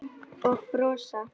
Og brosa.